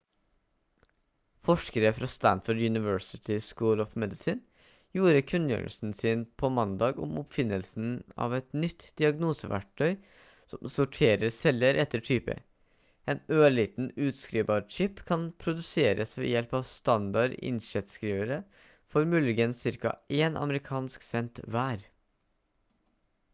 forskere fra stanford university school of medicine gjorde kunngjørelsen på mandag om oppfinnelsen av et nytt diagnoseverktøy som sorterer celler etter type en ørliten utskrivbar chip kan produseres ved hjelp av standard inkjettskrivere for muligens ca én amerikansk cent hver